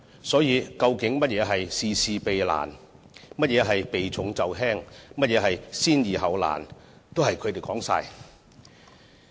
所以，究竟甚麼是事事避難，甚麼是避重就輕，甚麼是先易後難，全也由他們判斷。